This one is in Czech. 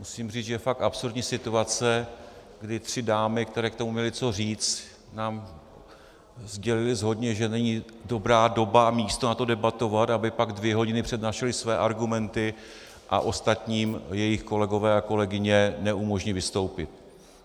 Musím říct, že je fakt absurdní situace, kdy tři dámy, které k tomu měly co říct, nám sdělily shodně, že není dobrá doba a místo na to debatovat, aby pak dvě hodiny přednášely své argumenty a ostatním jejich kolegové a kolegyně neumožnily vystoupit.